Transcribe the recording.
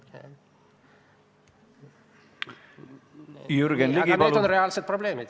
Aga jah, need on reaalsed probleemid.